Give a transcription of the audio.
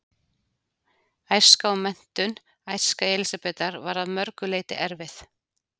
Æska og menntun Æska Elísabetar var að mörgu leyti erfið.